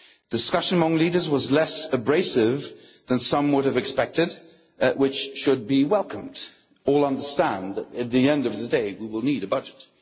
Discussion among the leaders was less abrasive than some might have expected, and that should be welcomed they all understand that at the end of the day we will need a budget.